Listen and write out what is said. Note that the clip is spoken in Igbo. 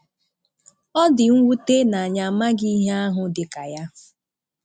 Ọ dị nwute na anyị amaghị ihe ahụ dị ka ya.